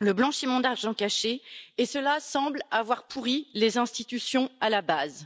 le blanchiment d'argent caché, et cela semble avoir pourri les institutions à la base.